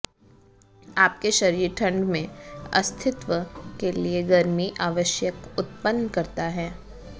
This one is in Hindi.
आपके शरीर ठंड में अस्तित्व के लिए गर्मी आवश्यक उत्पन्न करता है